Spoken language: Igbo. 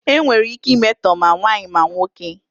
Enwere ike imetọ ma nwaanyị ma nwoke.